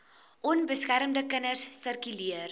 onbeskermde kinders sirkuleer